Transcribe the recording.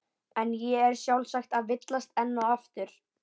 En ég er sjálfsagt að villast enn og aftur.